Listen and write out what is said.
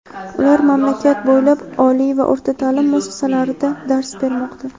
Ular mamlakat bo‘ylab oliy va o‘rta ta’lim muassasalarida dars bermoqda.